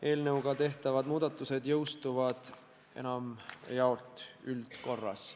Eelnõu kohaselt tehtavad muudatused peaksid enamjaolt jõustuma üldkorras.